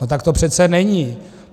A tak to přece není!